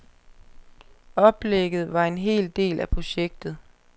Oplægget var en del af projektet.